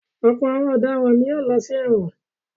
Ọ̀pọ̀ àwọn ọ̀daràn ni yóò lọ sí ẹ̀wọ̀n.